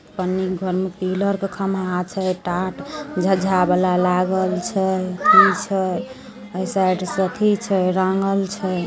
पन्नी के घर में पिलर के खंभा छै टाट झझा वाला लागल छै ए साइड से अथी छै रंगल छै।